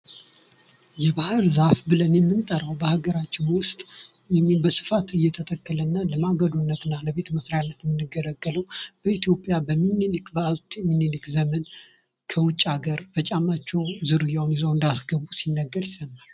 ይህ ባህር ዛፍ ብለን የምንጠራው በሀገራችን ውስጥ በስፈት እየተተከለ ያለና የምንጠቀምበትና ለማገዶነት የሚውል በኢትዮጵያ በአፄ ሚኒሊክ ዘመን ከውጭ ሀገር በጫማቸው ዝርያውን እንዳስገቡ ይዘው ሲነገር ይሰማል ።